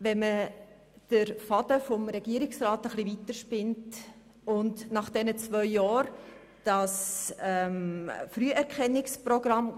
Spinnt man den Faden des Regierungsrats ein bisschen weiter, interpretiert nach den zwei Jahren das Früherkennungsprogramm